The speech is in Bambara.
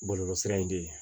Bɔlɔlɔsira in de ye